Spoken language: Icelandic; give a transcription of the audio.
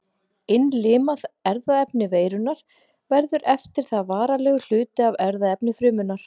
Innlimað erfðaefni veirunnar verður eftir það varanlegur hluti af erfðaefni frumunnar.